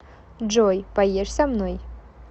джой поешь со мной